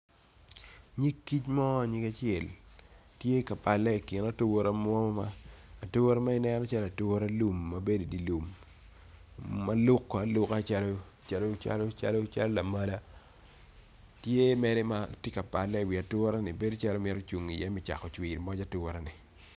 Nyig kic mo nyig acel tye ka pale ikin ature mo ature manen calo ature lum mabedo idye lum maluko aluka calo lamala tye mere matye ka pale i wi ature ni bedo calo mito cungo i ye me cako cwiyo ngwec ature ni.